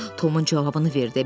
Tomun cavabını verdi.